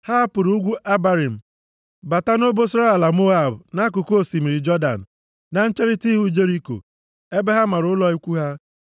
Ha hapụrụ ugwu Abarim bata nʼobosara ala Moab nʼakụkụ osimiri Jọdan, na ncherita ihu Jeriko, ebe ha mara ụlọ ikwu ha.